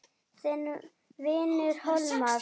Þinn vinur Hólmar.